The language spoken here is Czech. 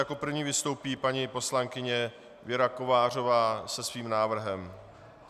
Jako první vystoupí paní poslankyně Věra Kovářová se svým návrhem.